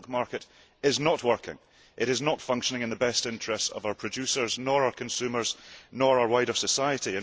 The milk market is not working it is not functioning in the best interests of our producers, our consumers or our wider society.